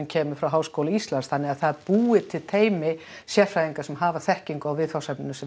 kemur frá Háskóla Íslands þannig að það er búið til teymi sérfræðinga sem hafa þekkingu á viðfangsefninu sem